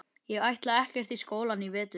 Ég ætla ekkert í skólann í vetur.